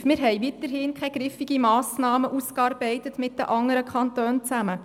Wir haben weiterhin mit den anderen Kantonen zusammen keine griffige Massnahme ausgearbeitet.